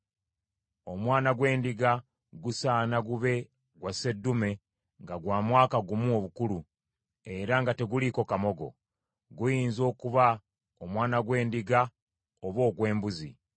Omwana gw’endiga gusaana gube gwa seddume nga gwa mwaka gumu obukulu, era nga teguliiko kamogo. Guyinza okuba omwana gw’endiga oba ogw’embuzi.